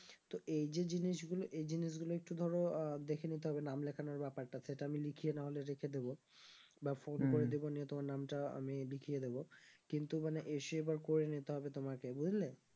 তো এই যে জিনিসগুলো এই জিনিসগুলো একটু ধরো আহ দেখে নিতে হবে নাম লেখানোর ব্যাপারটা সেটা আমি লিখিয়ে নাহলে রেখে দেবো বা phone করে দেবো নিয়ে তোমার নামটা আমি লিখিয়ে দিবো কিন্তু মানে এসে এবার করে নিতে হবে তোমাকে বুঝলে